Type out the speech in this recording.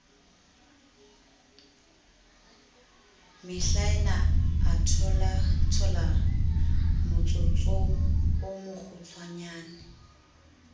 mehlaena a tholathola motsotsoo mokgutswanyane